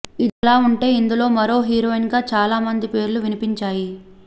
ఇదిలా ఉంటే ఇందులో మరో హీరోయిన్ గా చాలా మంది పేర్లు వినిపించాయి